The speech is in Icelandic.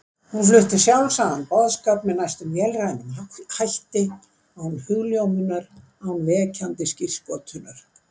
Hún flutti sjálfsagðan boðskap með næstum vélrænum hætti, án hugljómunar, án vekjandi skírskotunar.